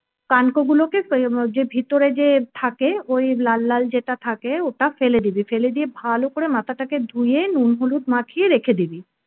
কানকো গুলোকে যে ভিতরে যে থাকে ওই লাল লাল যেটা থাকে ওটা ফেলে দিবি ফেলে দিয়ে ভালো করে মাথাটাকে ধুয়ে নুন হলুদ মাখিয়ে রেখে দিবি।